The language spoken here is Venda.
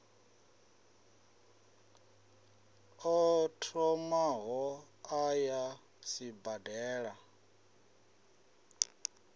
o thomaho a ya sibadela